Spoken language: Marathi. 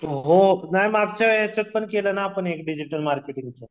हो नाही मागच्या येच्यातपण केलना आपण एक डिजिटल मार्केटिंगच